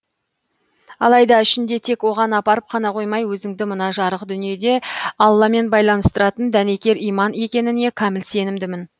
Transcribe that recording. алайда ішінде тек оған апарып қана қоймай өзіңді мына жарық дүниеде алламен байланыстыратын дәнекер иман екенініне кәміл сенімдімін